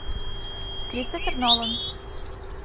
кристофер нолан